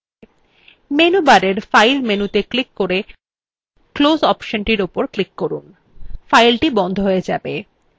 menu bar file মেনুতে click করে close অপশনটি উপর click করুন filethe বন্ধ হয়ে যাবে